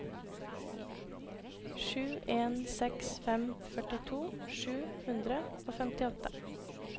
sju en seks fem førtito sju hundre og femtiåtte